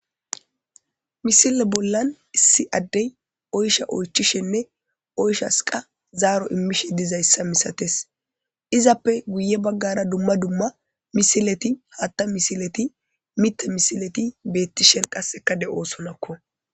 Misile bola issi adeyi oychcha oyichchishshenne oyichchasikka zaro imishshe dizayisa misateesi izappe guye bagara dumma dumma misileti haaththa misileti miththa misileti betishe qasekka deosoonakko